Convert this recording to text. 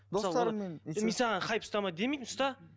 мен саған хайп ұстама демеймін ұста